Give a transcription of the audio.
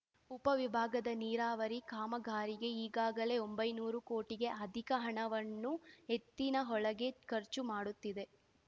ಉಪವಿಭಾಗದ ನೀರಾವರಿ ಕಾಮಗಾರಿಗೆ ಈಗಾಗಲೇ ಒಂಬೈನೂರು ಕೋಟಿಗೆ ಅಧಿಕ ಹಣವನ್ನು ಎತ್ತಿನಹೊಳೆಗೆ ಖರ್ಚು ಮಾಡುತ್ತಿದೆ